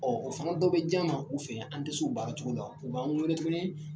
Ɔ o fana dɔ bɛ j'an ma u fɛ , an tɛ se u baara cogo la, u b'an weele tuguni